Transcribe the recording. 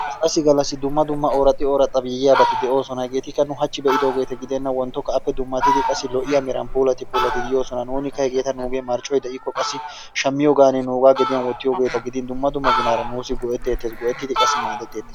galassi gallassi dumma dumma orraxxi ooraxxi yiyaabati doosona, hegeetikka nu hachi be'idoogette gidenan wonttokka appe dummatidi qassi lo''iya meran puulatidi yoosona nuunikka hegeeta qassi marccoy de'ikko shammiyoogan qassi nuuga gediyaan wottiyoogeeta gidin dumma dumma ginaarta nuussi go''etettees, geo''ettidi qassi maaddetettees.